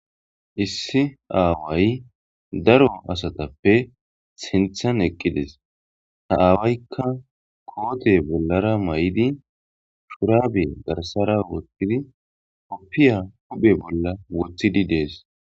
Issi aaway daro asatappe sinthan eqqides ha aawaykka koote bollara may'idi shuraabe garsara wothtidi oppiya huphe bolla wothidi dees